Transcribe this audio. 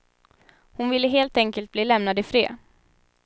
Hon ville helt enkelt bli lämnad i fred.